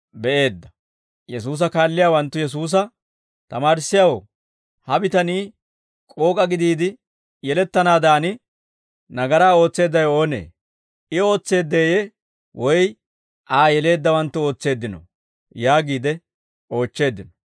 Yesuusa kaalliyaawanttu Yesuusa, «Tamaarissiyaawoo, ha bitanii k'ook'a gidiide yelettanaadan, nagaraa ootseeddawe oonee? I ootseedeeyye? Woy Aa yeleeddawanttu ootseeddinoo?» yaagiide oochcheeddino.